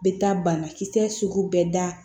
Bɛ taa banakisɛ sugu bɛɛ da